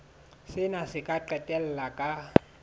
sena se ka qetella ka